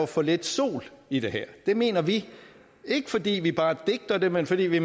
for lidt solenergi i det her det mener vi ikke fordi vi bare digter det men fordi vi